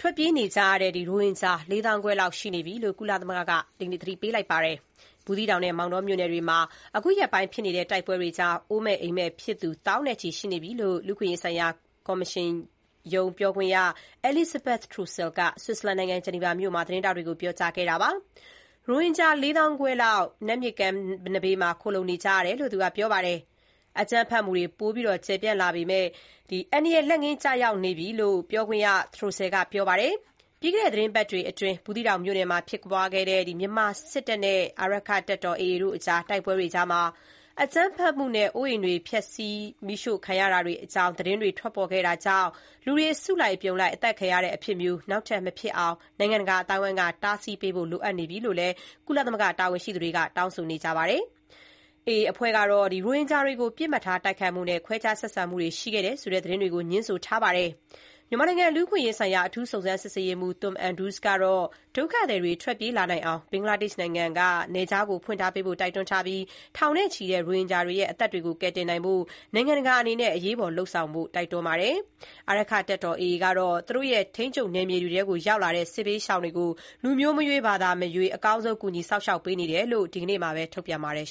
ထွက်ပြေးနေကြရတဲ့ ရိုဟင်ဂျာ ၄ သောင်းခွဲလောက်ရှိနေပြီလို့ ကုလသမဂ္ဂက သတိပေးလိုက်ပါတယ်။ ဘူးသီးတောင်နဲ့ မောင်တောမြို့နယ်တွေမှာ အခုရက်ပိုင်းဖြစ်နေတဲ့ တိုက်ပွဲတွေကြောင့် အိုးမဲ့ အိမ်မဲ့ဖြစ်သူ သောင်းနဲ့ချီ ရှိနေပြီလို့ လူ့အခွင့်အရေးဆိုင်ရာကော်မရှင်နာမင်းကြီးရုံး ပြောခွင့်ရ Elizabeth Throssell က Switzerland နိုင်ငံ Geneva မြို့မှာ သတင်းထောက်တွေကို ပြောကြားခဲ့ပါတယ်။ ရိုဟင်ဂျာ ၄၅၀၀၀ လောက် နတ်မြစ်ကမ်းဘေးနားမှာ ခိုလှုံနေကြရတယ်လို့ သူကပြောပါတယ်။ အကြမ်းဖက်မှုတွေ ပိုပြီးကြီးမားကျယ်ပြန့်လာမယ့် အန္တရာယ်လက်ငင်းကျရောက်နေပြီလို့ ပြောခွင့်ရ Throssell ကပြောပါတယ်။ ပြီးခဲ့တဲ့ သီတင်းပတ်တွေအတွင်း ဘူသီးတောင်မြို့နယ်မှာ ဖြစ်ပွားခဲ့တဲ့ မြန်မာစစ်တပ်နဲ့ အာရက္ခတပ်တော် AA တို့ အကြား တိုက်ပွဲတွေ အကြားမှာ အကြမ်းဖက်မှုနဲ့ အိုးအိမ်တွေ မီးရှို့ဖျက်ဆီးမှုတွေအကြောင်း သတင်းတွေ ထွက်ပေါ်ခဲ့တာကြောင့် လူတွေ အစုလိုက်အပြုံလိုက် အသတ်ခံရတဲ့ အဖြစ်မျိုး နောက်ထပ် မဖြစ်အောင် နိုင်ငံတကာ အသိုင်းအဝိုင်းက တားဆီးပေးဖို့လိုနေပြီလို့ ကုလသမဂ္ဂ တာဝန်ရှိသူတွေက တောင်းဆိုနေတာပါ။ AA အဖွဲ့ကတော့ ရိုဟင်ဂျာတွေကို ပစ်မှတ်ထား တိုက်ခိုက်မှုနဲ့ ခွဲခြားဆက်ဆံမှုတွေ ရှိခဲ့တယ်ဆိုတဲ့ သတင်းတွေကို ငြင်းဆိုထားပါတယ်။ မြန်မာနိုင်ငံ လူ့အခွင့်အရေးဆိုင်ရာ အထူးစုံစမ်းရေးမှူး Tom Andrews ကတော့ ဒုက္ခသည်တွေ ထွက်ပြေးလာနိုင်အောင် ဘင်္ဂလားဒေ့ရှ်နိုင်ငံဘက်က နယ်ခြားကို ဖွင့်ပေးထားဖို့ တိုက်တွန်းထားပြီး ထောင်နဲ့ချီတဲ့ ရိုဟင်ဂျာတွေရဲ့ အသက်တွေကို ကယ်တင်နိုင်ဖို့ နိုင်ငံတကာအနေနဲ့ အရေးပေါ်လုပ်ဆောင်ဖို့ တိုက်တွန်းနေပါတယ်။ အာရက္ခတပ်တော် AA ကတော့ သူတို့ ထိန်းချုပ်နယ်မြေတွေထဲ ရောက်လာကြတဲ့ စစ်ဘေးရှောင်တွေကို လူမျိုးမရွေး၊ ဘာသာမရွေး အကောင်းဆုံး ကူညီစောင့်ရှောက်ပေးနေတယ်လို့ AA ကဒီနေ့ သတင်းထုတ်ပြန်ပါတယ်